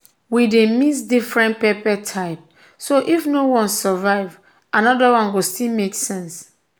we dey mix different pepper type so if one no survive another one go still make sense.